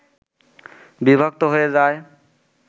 বিভক্ত হয়ে যায়